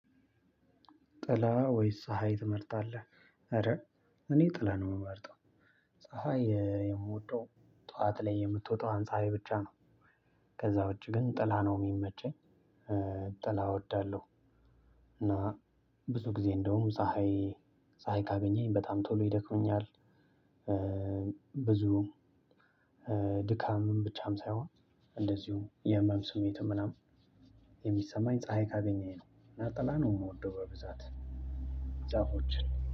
ጥላ ወይስ ፀሀይ ትመርጣለህ? ኧረ እኔ ጥላ ነው የምመርጠው ፀሀይ የምወደው ጠዋት ላይ የምትወጣዋን ፀሀይ ብቻ ነው ከዛ ውጭ ግን ጥላ ነው የሚመቸኝ። ጥላ እወዳለሁ። እና ብዙ ጊዜ እንደውም ፀሀይ ፀሀይ ካገኘኝ በጣም ቶሎ ይደክመኛል። ብዙ ድካምም ብቻም ሳይሆን እንደዚሁ የህመም ስሜትም ምናምን የሚሰማኝ ፀሀይ ካገኘሁ ነው እና ጥላ ነው የምወደው። በብዛት ዛፎችን